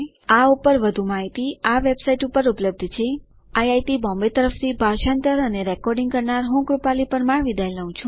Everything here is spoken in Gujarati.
આ ઉપર વધુ માહિતી આ વેબસાઇટ ઉપર ઉપલબ્ધ છેIIT બોમ્બે તરફથી ભાષાંતર કરનાર હું કૃપાલી પરમાર વિદાય લઉં છું